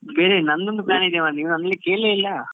ಬೇರೆ ನಂದು ಒಂದು plan ಇದೆ ನನ್ನ ಕೇಳ್ಳೆ ಇಲ್ಲ.